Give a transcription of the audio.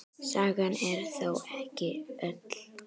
Sagan er þó ekki öll.